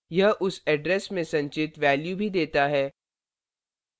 यह उस address में संचित value भी देता है